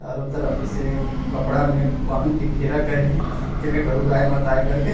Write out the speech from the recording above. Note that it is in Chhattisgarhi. चारो तरफ से कपड़ा में बांध के घेरा करे हे जेमे गरु गाय मत आए कर के--